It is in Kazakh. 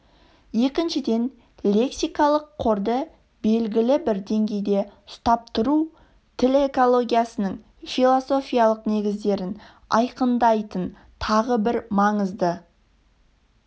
екіншіден лексикалық қорды белгі бір деңгейде ұстап тұру тіл экологиясының философиялық негіздерін айқындайтын тағы бір маңызды